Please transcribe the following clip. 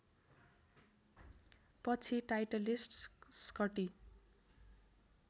पछि Titleist Scotty